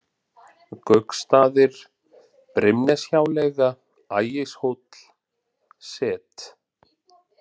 Gauksstaðir, Brimneshjáleiga, Ægishóll, Set